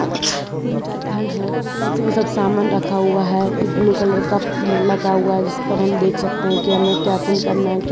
तीन चार फैन हैं जिनपर समान रखा हुआ एक ब्ल्यू कलर का लगा हुआ है जिसपर हम देख सकते हैं कि हमें क्या चीज करना है क्या--